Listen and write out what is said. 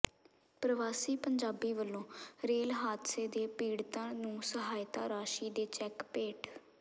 ਪ੍ਰਵਾਸੀ ਪੰਜਾਬੀ ਵੱਲੋਂ ਰੇਲ ਹਾਦਸੇ ਦੇ ਪੀੜ੍ਹਤਾਂ ਨੂੰ ਸਹਾਇਤਾ ਰਾਸ਼ੀ ਦੇ ਚੈਕ ਭੇਟ